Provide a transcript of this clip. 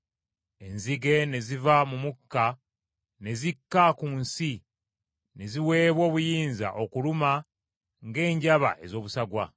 Enzige ne ziva mu mukka ne zikka ku nsi ne ziweebwa obuyinza okuluma ng’enjaba ez’obusagwa.